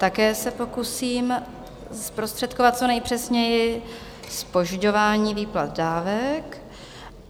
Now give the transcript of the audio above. Také se pokusím zprostředkovat co nejpřesněji, Zpožďování výplat dávek.